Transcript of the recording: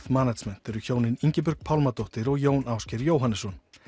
management eru hjónin Ingibjörg Pálmadóttir og Jón Ásgeir Jóhannesson